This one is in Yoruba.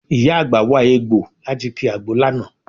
Ìyá àgbà wa egbọ̀ láti ki àgbo lánàá